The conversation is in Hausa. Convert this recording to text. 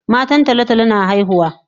Matan tolo tolo na haihuwa